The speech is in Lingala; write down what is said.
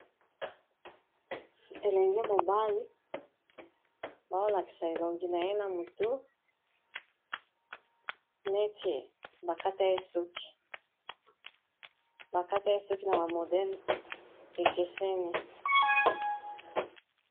Elenge mobali baolakisa elongi na ye na motu neti bakata ye suki na ba modele ekeseni.